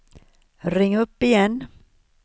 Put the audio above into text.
ring upp igen